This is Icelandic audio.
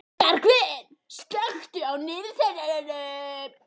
Bergvin, slökktu á niðurteljaranum.